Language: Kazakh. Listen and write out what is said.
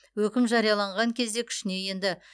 өкім жарияланған кезде күшіне енді